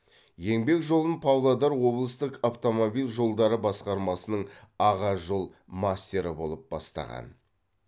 еңбек жолын павлодар облыстық автомобиль жолдары басқармасының аға жол мастері болып бастаған